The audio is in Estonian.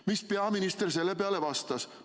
"Mis peaminister selle peale vastas?